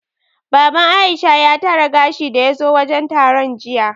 Baban Aisha ya tara gashi daya zo wajen taron jiya